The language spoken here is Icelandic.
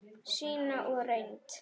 Sýnd og reynd.